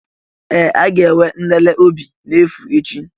Ee! A ga-enwe nlele obi n'efu echi.